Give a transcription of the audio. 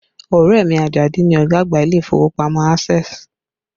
Ọrẹ mi, Ajadi ni ọ̀gá àgbà ilé ìfowópamọ́ Access